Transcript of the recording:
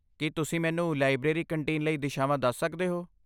ਕੀ ਤੁਸੀਂ ਮੈਨੂੰ library canteen ਲਈ ਦਿਸ਼ਾਵਾਂ ਦੱਸ ਸਕਦੇ ਹੋ?